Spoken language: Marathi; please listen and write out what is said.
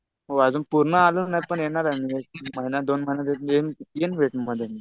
हो. पण अजून पूर्ण आलो नाही. पण येणार आहे मी या तीन महिन्यात, दोन महिन्यात येईन वेटमध्ये मी.